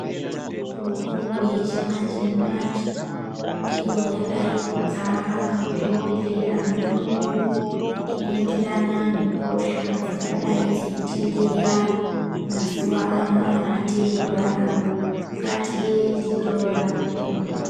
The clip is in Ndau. Mitombo yechimanje manje ndiyo yadai kudzara muzvibhehlera mwedumwo inoenderana nehosha dzingadai dzeitenderera mazuwa anaya atiri kurarama. Ngatiende torapiwa.